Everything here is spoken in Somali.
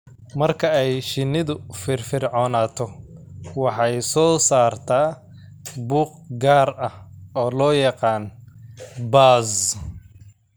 Marka ay shinnidu firfircoonaato, waxay soo saartaa buuq gaar ah oo loo yaqaan "buzz."